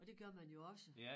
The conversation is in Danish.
Og det gør man jo også